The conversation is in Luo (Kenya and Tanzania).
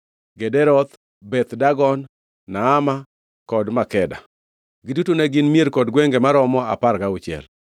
Gederoth, Beth Dagon, Naama kod Makeda. Giduto ne gin mier kod gwenge maromo apar gauchiel.